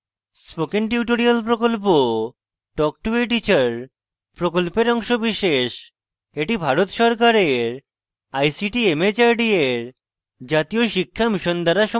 spoken tutorial প্রকল্প talk to a teacher প্রকল্পের অংশবিশেষ এটি ভারত সরকারের ict mhrd এর জাতীয় শিক্ষা mission দ্বারা সমর্থিত